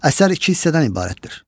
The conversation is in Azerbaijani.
Əsər iki hissədən ibarətdir.